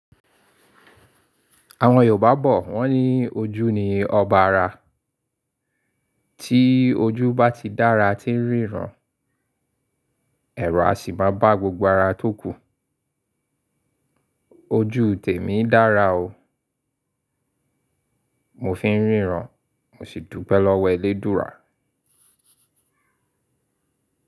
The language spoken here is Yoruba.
Àwọn Yorùbá bọ̀ wọ́n ní ojú ni ọba ara. Tí ojú bá ti dára tí ń ríran, ẹ̀rọ a sì máa bá gbogbo ara tó kù. Ojú tèmi dára o. Mo fi ń ríran, mo sì dùpe lọ́wọ́ Elédùrà.